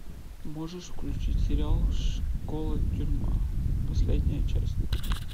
можешь включить сериал школа тюрьма последняя часть